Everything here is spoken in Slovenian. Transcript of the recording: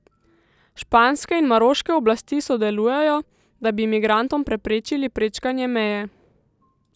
Španske in maroške oblasti sodelujejo, da bi migrantom preprečili prečkanje meje.